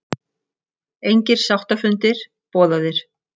Engir sáttafundir boðaðir